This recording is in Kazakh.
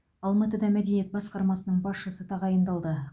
алматыда мәдениет басқармасының басшысы тағайындалды